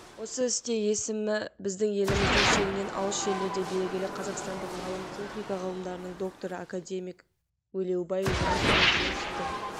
осы істе есімі біздің еліміздің шегінен алыс жерлерге белгілі қазақстандық ғалым техника ғылымдарының докторы академик өлеубай жүнісұлы жүнісовтың